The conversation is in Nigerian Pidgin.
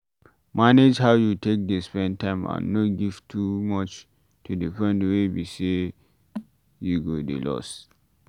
Manage how you take dey spend time and no give too much to di point wey be say you go dey lost